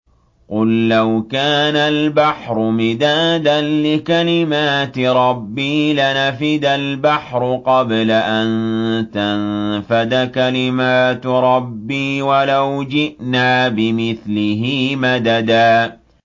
قُل لَّوْ كَانَ الْبَحْرُ مِدَادًا لِّكَلِمَاتِ رَبِّي لَنَفِدَ الْبَحْرُ قَبْلَ أَن تَنفَدَ كَلِمَاتُ رَبِّي وَلَوْ جِئْنَا بِمِثْلِهِ مَدَدًا